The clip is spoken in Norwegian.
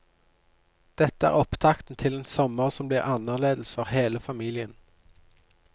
Dette er opptakten til en sommer som blir annerledes for hele familien.